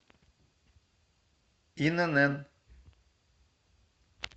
инн